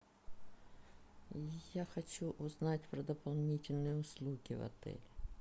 я хочу узнать про дополнительные услуги в отеле